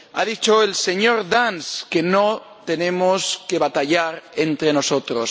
Ha dicho el señor Dance que no tenemos que batallar entre nosotros.